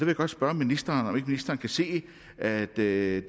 jeg godt spørge ministeren om ikke ministeren kan se at det